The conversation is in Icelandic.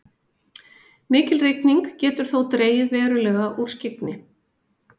mikil rigning getur þó dregið verulega úr skyggni